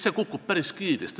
See kukub päris kiiresti.